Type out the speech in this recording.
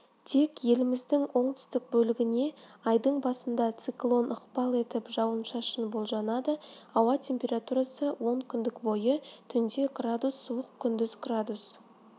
тек еліміздің оңтүстік бөлігіне айдың басында циклон ықпал етіп жауын шашын болжанады ауа температурасы онкүндік бойы түнде градус суық күндіз градус